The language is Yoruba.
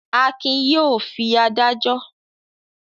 Akin yóò fi adájọ́.